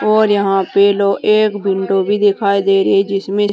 और यहां पे लो एक विंडो भी दिखाई दे रही है जिसमें--